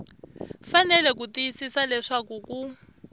fanele ku tiyisisa leswaku ku